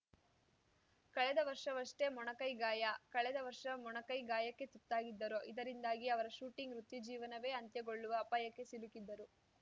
ಕಳೆದ ವರ್ಷವಷ್ಟೇ ಮೊಣಕೈ ಗಾಯ ಕಳೆದ ವರ್ಷ ಮೊಣಕೈ ಗಾಯಕ್ಕೆ ತುತ್ತಾಗಿದ್ದರು ಇದರಿಂದಾಗಿ ಅವರ ಶೂಟಿಂಗ್‌ ವೃತ್ತಿಜೀವನವೇ ಅಂತ್ಯಗೊಳ್ಳುವ ಅಪಾಯಕ್ಕೆ ಸಿಲುಕಿದ್ದರು